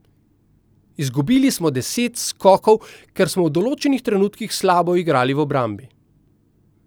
Izgubili smo deset skokov, ker smo v določenih trenutkih slabo igrali v obrambi.